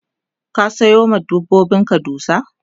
ka Sayo ma dabbobin dusa?